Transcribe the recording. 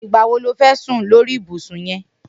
Nigbà wó ló fẹ̀ sùn sóri ibùsùn yèn